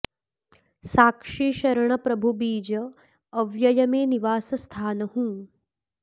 साक्षी शरण प्रभु बीज अव्यय में निवासस्थान हूँ